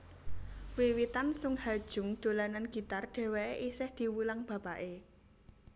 Wiwitan Sung Ha Jung dolanan gitar dhèwèké isih diwulang bapaké